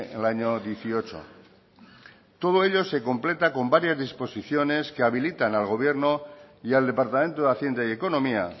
el año dieciocho todo ello se completa con varias disposiciones que habilitan al gobierno y al departamento de hacienda y economía